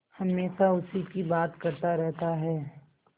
हमेशा उसी की बात करता रहता है